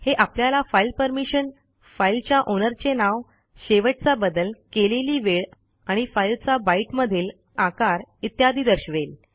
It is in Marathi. हे आपल्याला फाईल परमिशन फाईलच्या ओनरचे नाव शेवटचा बदल केलेली वेळ आणि फाईलचा बायट मधील आकार इत्यादी दर्शवेल